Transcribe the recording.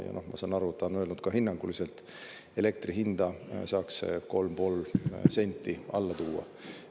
Ja ma saan aru, et ta on öelnud ka, et hinnanguliselt elektri hinda saaks 3,5 senti alla tuua.